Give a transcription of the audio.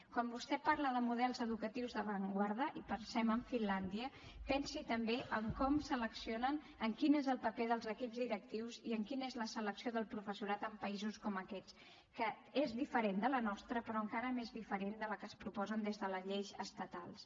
quan vostè parla de models educatius d’avantguarda i pensem en finlàndia pensi també en com seleccionen en quin és el paper dels equips directius i en quina és la selecció del professorat en països com aquests que és diferent de la nostra però encara més diferent de la que es proposen des de les lleis estatals